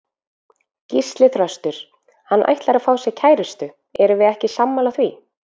Gísli Þröstur: Hann ætlar að fá sér kærustu, erum við ekki sammála því?